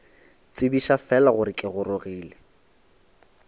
tsebiša fela gore ke gorogile